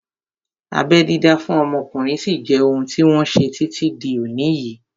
Abẹ́ dídá fún ọmọkùnrin sí jẹ́ ohun tí wọ́n ṣe títí di òní yìí